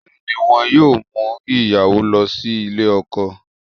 Bẹ́ẹ̀ ni, wọn yóò mú ìyàwó lọ sílè ọkọ